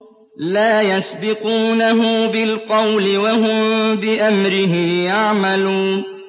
لَا يَسْبِقُونَهُ بِالْقَوْلِ وَهُم بِأَمْرِهِ يَعْمَلُونَ